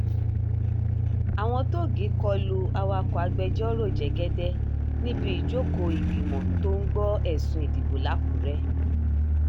àwọn tóògì kọ lu awakọ̀ agbẹjọ́rò jẹ́gẹ́dẹ́ níbi ìjókòó ìgbìmọ̀ tó ń gbọ́ ẹ̀sùn ìdìbò lákùrè